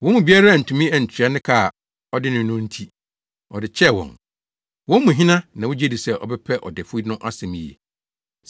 Wɔn mu biara antumi antua ne ka a ɔde no no nti, ɔde kyɛɛ wɔn. Wɔn mu hena na wugye di sɛ ɔbɛpɛ ɔdefo no asɛm yiye?”